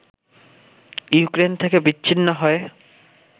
Ukraine থেকে বিচ্ছিন্ন হয়ে